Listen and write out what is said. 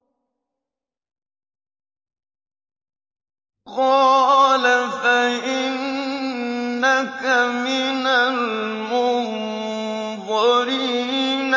قَالَ فَإِنَّكَ مِنَ الْمُنظَرِينَ